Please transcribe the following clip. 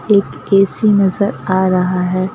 एक ए_सी नजर आ रहा है।